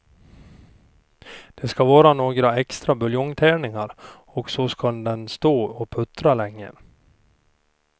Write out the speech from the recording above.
Det ska vara några extra buljongtärningar och så ska den stå och puttra länge.